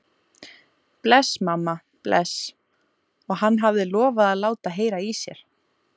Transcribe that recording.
Bless, mamma, bless, og hann hafði lofað að láta heyra í sér.